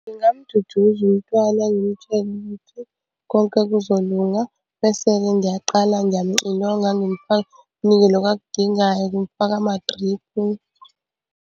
Ngingamududuza umntwana ngimtshele ukuthi konke kuzolunga, bese-ke ngiyaqala ngiyamuxilonga ngimufaka ngimunike lokhu akudingayo ngimufaka amadriphu.